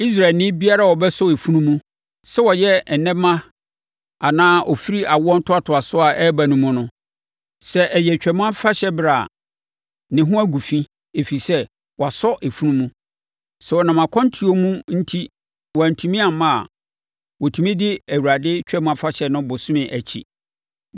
“Israelni biara a ɔbɛsɔ efunu mu, sɛ ɔyɛ nnɛmma anaa ɔfiri awoɔ ntoatoasoɔ a ɛreba no mu no, sɛ ɛyɛ Twam Afahyɛberɛ a, ne ho agu fi, ɛfiri sɛ, wasɔ efunu mu. Sɛ wɔnam akwantuo mu enti wɔantumi amma a, wɔtumi di Awurade Twam Afahyɛ no bosome akyi;